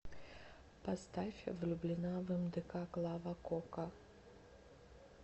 поставь влюблена в мдк клава кока